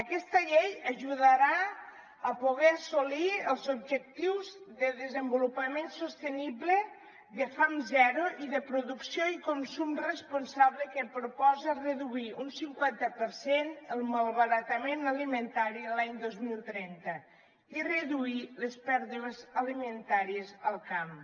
aquesta llei ajudarà a poder assolir els objectius de desenvolupament sostenible de fam zero i de producció i consum responsable que proposa reduir un cinquanta per cent el malbaratament alimentari l’any dos mil trenta i reduir les pèrdues alimentàries al camp